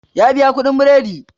Ya biya kuɗin biredi